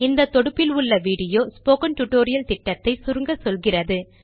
இந்த தொடுப்பில் உள்ள வீடியோ ஸ்போக்கன் டியூட்டோரியல் திட்டத்தை சுருக்கமாக சொல்கிறது